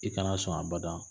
I kana sɔn a bada